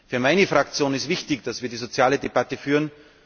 Für meine Fraktion ist wichtig, dass wir die soziale Debatte führen.